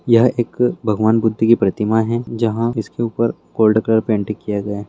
यहां एक भगवान बुद्ध की प्रतिमा है जहां इसके ऊपर गोल्ड कलर पेंट किया हुआ है।